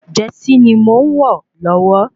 Jẹsí ni mò ń wọ̀ lọ́wọ́